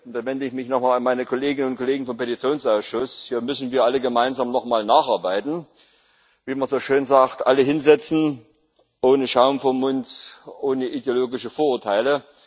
Da wende ich mich noch einmal an meine Kolleginnen und Kollegen vom Petitionsausschuss Hier müssen wir alle gemeinsam noch mal nacharbeiten, wie man so schön sagt Alle hinsetzen ohne Schaum vorm Mund, ohne ideologische Vorurteile!